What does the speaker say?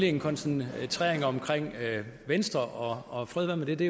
en koncentrering om venstre og fred være med det det